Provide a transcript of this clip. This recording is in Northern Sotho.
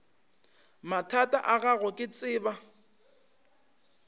mathata a gago ke tseba